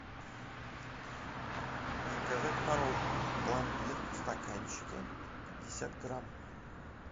заказать мороженое пломбир в стаканчике пятьдесят грамм